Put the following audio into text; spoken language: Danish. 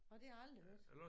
Nåh det har jeg aldrig hørt